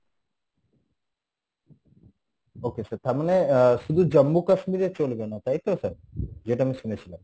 okay sir তারমানে আহ শুধু Jammu Kashmir এ চলবে না তাই তো sir? যেটা আমি শুনেছিলাম